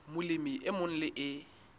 molemi e mong le e